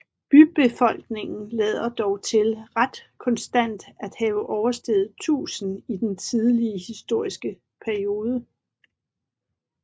Bybefolkningen lader dog til ret konstant at have oversteget 1000 i den tidlige historiske periode